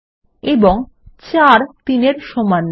এবং ৪ ৩ এর সমান নয়